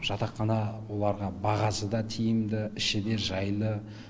жатақхана оларға бағасы да тиімді іші де жайлы